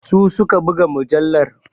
Su su ka buga mujallar.